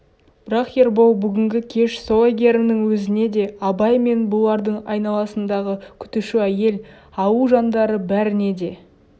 бірақ ербол бүгінгі кеш сол әйгерімнің өзіне де абай мен бұлардың айналасындағы күтуші әйел ауыл жандары бәріне де